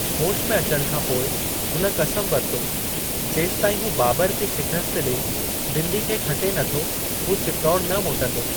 होश में अचणु खां पोइ हुन क़समु वरितो जेसीं ताईं हू बाबर खे शिक़स्तु ॾेई दिल्ली खे खटे नथो, हू चित्तौड़ न मोटंदो।